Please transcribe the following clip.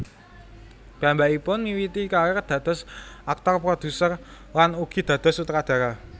Piyambakipun miwiti karir dados aktor produser lan ugi dados sutradara